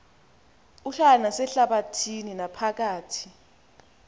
uhlala nasehlabathini naphakathi